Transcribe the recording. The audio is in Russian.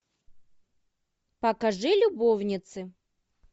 покажи любовницы